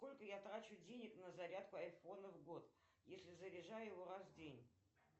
сколько я трачу денег на зарядку айфона в год если заряжаю его раз в день